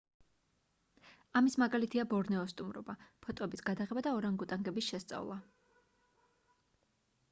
ამის მაგალითია ბორნეოს სტუმრობა ფოტოების გადაღება და ორანგუტანგების შესწავლა